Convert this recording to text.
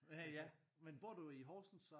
Ja men bor du i Horsens så?